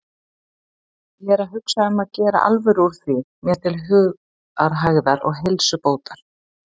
Ég er að hugsa um að gera alvöru úr því mér til hugarhægðar og heilsubótar.